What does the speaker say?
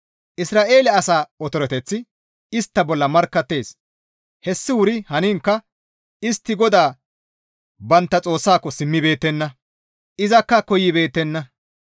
Isra7eele asaa otoreteththi istta bolla markkattees; hessi wuri haniinkka istti GODAA bantta Xoossako simmibeettenna; izakka koyibeettenna.